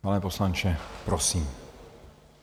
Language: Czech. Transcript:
Pane poslanče, prosím.